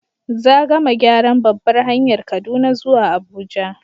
Za gama gyaran babbar hanyar Kaduna zuwa Abuja